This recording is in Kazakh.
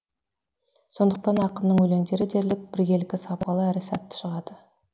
сондықтан ақынның өлеңдері дерлік біркелкі сапалы да сәтті шығады